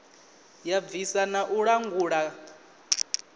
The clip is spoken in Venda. ya bvisa na u langula